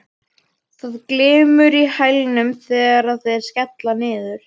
Það glymur í hælunum þegar þeir skella niður.